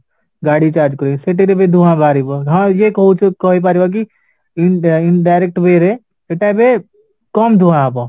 ଗାଡି charge କରିକି ସେଥିରେ ବି ଧୂଆଁ ବାହାରିବ ହଁ ଇଏ କହୁଚ କହିପାରିବକି in indirect way ରେ ସେଟା ଏବେ କମ ଧୂଆଁ ହବ